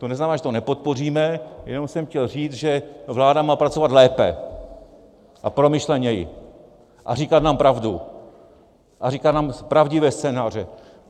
To neznamená, že to nepodpoříme, jenom jsem chtěl říct, že vláda má pracovat lépe a promyšleněji a říkat nám pravdu a říkat nám pravdivé scénáře.